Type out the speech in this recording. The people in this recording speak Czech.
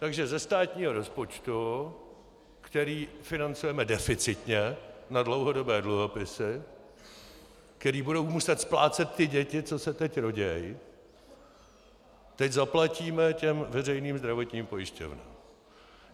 Takže ze státního rozpočtu, který financujeme deficitně na dlouhodobé dluhopisy, které budou muset splácet ty děti, co se teď rodí, teď zaplatíme těm veřejným zdravotním pojišťovnám.